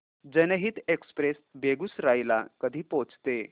जनहित एक्सप्रेस बेगूसराई ला कधी पोहचते